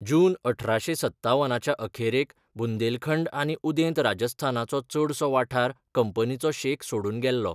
जून अठराशें सत्तावनाच्या अखेरेक बुंदेलखंड आनी उदेंत राजस्थानाचो चडसो वाठार कंपनीचो शेक सोडून गेल्लो.